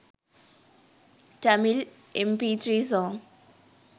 tamil mp3 song